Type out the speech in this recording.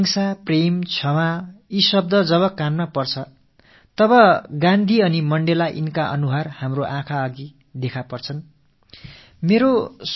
உலகில் அகிம்ஸை நேசம் மன்னித்தல் ஆகிய சொற்கள் காதுகளில் வந்து விழும் போது காந்தியடிகள் மண்டேலா ஆகியோரின் முகங்களே நமக்கு முன்னால் காட்சியளிக்கும்